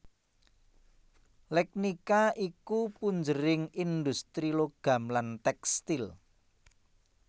Legnica iku punjering indhustri logam lan tèkstil